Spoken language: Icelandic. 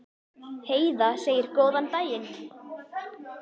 Heiða segir góðan daginn!